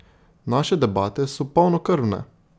Naše debate so polnokrvne!